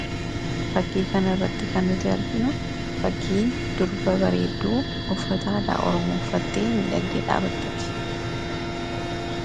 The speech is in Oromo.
Fakkii kana irratti kan nuti arginu fakkii durba bareedduu uffata aadaa oromoo uffattee miidhagdee dhaabattuuti.